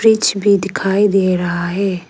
Fridge भी दिखाई दे रहा है।